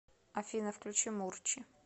афина включи мурчи